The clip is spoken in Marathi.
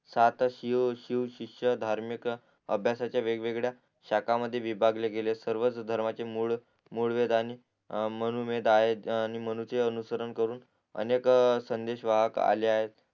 सात शिव शिव शीषधार्मिक अभ्यासाच्या वेग वेगळ्या शाका मध्ये विभागले गेले सर्व धर्मचे मूळ मूळ वेद आणि मनुमेद आहेत आणि मनुचे अनुसरण करून अनेक संदेश वाहक आले आहेत